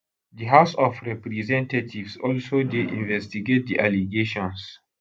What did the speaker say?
di house of representatives also dey investigate di allegations